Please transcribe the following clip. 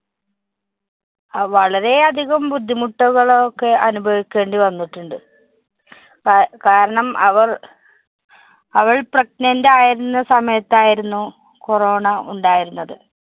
അ~ വളരെയധികം ബുദ്ധിമുട്ടുകളൊക്കെ അനുഭവിക്കേണ്ടി വന്നിട്ടുണ്ട്. കാ~ കാരണം അവര്‍ അവള്‍ pregnant ആയിരുന്ന സമയത്തായിരുന്നു corona ഉണ്ടായിരുന്നത്.